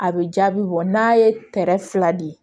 A bɛ jaabi bɔ n'a ye kɛrɛ fila di